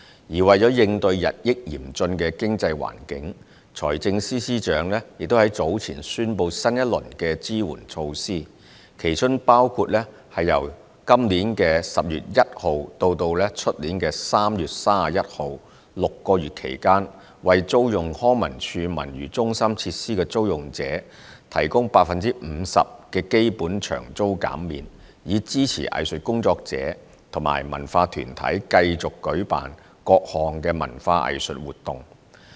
而為了應對日益嚴峻的經濟環境，財政司司長已於早前宣布新一輪支援措施，其中包括由2019年10月1日至2020年3月31日6個月期間，為租用康文署文娛中心設施的租用者，提供 50% 的基本場租減免，以支持藝術工作者及文化團體繼續舉辦各項文化藝術活動。